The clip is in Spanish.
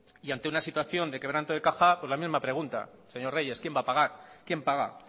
y ante una situación de quebranto de caja pues la misma pregunta señor reyes quién va a pagar quién paga